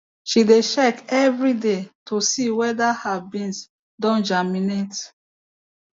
she dey check every day to see whether her beans don germinate